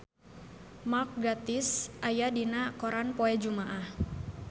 Mark Gatiss aya dina koran poe Jumaah